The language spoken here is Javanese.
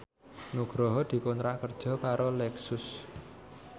Nugroho dikontrak kerja karo Lexus